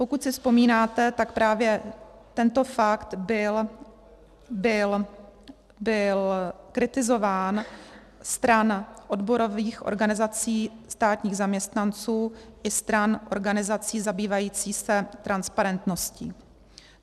Pokud si vzpomínáte, tak právě tento fakt byl kritizován stran odborových organizací státních zaměstnanců i stran organizací zabývajících se transparentností.